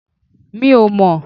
Mi ò mò